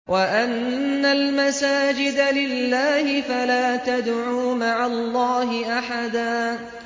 وَأَنَّ الْمَسَاجِدَ لِلَّهِ فَلَا تَدْعُوا مَعَ اللَّهِ أَحَدًا